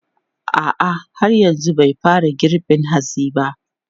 A'a, har yanzu bai fara girbin hatsin sa ba.